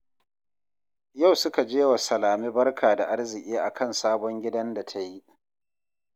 Yau suka je wa Salame barka da arziki a kan sabon gidan da ta yi